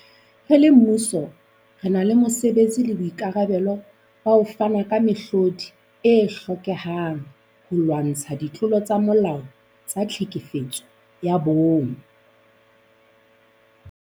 Re le mmuso, re na le mosebetsi le boikarabelo ba ho fana ka mehlodi e hlokehang holwantshwa ditlolo tsa molao tsa tlhekefetso ya bong.